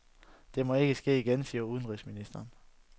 Det må ikke ske igen, siger udenrigsministeren.